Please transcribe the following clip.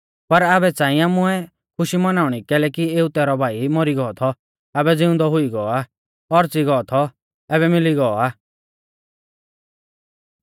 पर आबै च़ांई आमुऐ खुशी मौनाउंणी कैलैकि एऊ तैरौ भाई मौरी गौ थौ आबै ज़िउंदौ हुई गौ आ औच़ी गौ थौ आबै मिली गौ आ